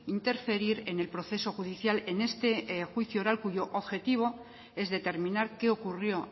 interferir en el proceso judicial en este juicio oral cuyo objetivo es determinar qué ocurrió